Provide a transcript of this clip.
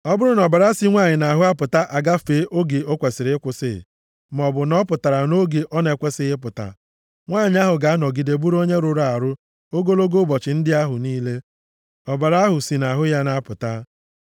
“ ‘Ọ bụrụ na ọbara si nwanyị nʼahụ na-apụta agafee oge o kwesiri ịkwụsị maọbụ na ọ pụtara nʼoge ọ na-ekwesighị ịpụta, nwanyị ahụ ga-anọgide bụrụ onye rụrụ arụ ogologo ụbọchị ndị ahụ niile ọbara ahụ si ya nʼahụ na-apụta.